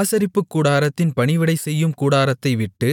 ஆசரிப்புக்கூடாரத்தின் பணிவிடை செய்யும் கூட்டத்தைவிட்டு